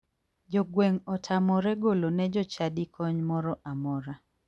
Jogweng' otamore golo ne jochadi kony moro amora.